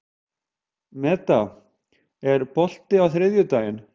Meda, er bolti á þriðjudaginn?